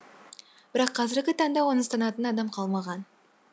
бірақ қазіргі таңда оны ұстанатын адам қалмаған